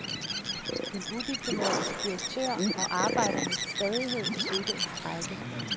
En udiplomatisk direktør og arbejdernes stædighed fødte en strejke.